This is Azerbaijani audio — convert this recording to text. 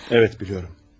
Bəli, bilirəm.